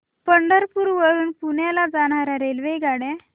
पंढरपूर वरून पुण्याला जाणार्या रेल्वेगाड्या